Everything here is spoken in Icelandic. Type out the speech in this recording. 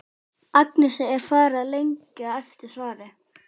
Agnesi er farið að lengja eftir svari.